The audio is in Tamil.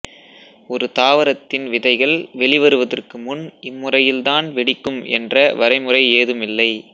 ஒரு தாவரத்தின் விதைகள் வெளிவருவதற்கு முன் இம்முறையில் தான் வெடிக்கும் என்ற வரைமுறை ஏதுமில்லை